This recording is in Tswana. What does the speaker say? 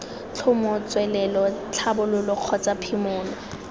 tlhomo tswelelo tlhabololo kgotsa phimolo